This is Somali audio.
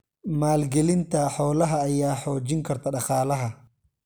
Maalgelinta xoolaha ayaa xoojin karta dhaqaalaha.